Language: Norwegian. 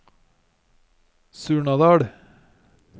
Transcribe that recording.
Surnadal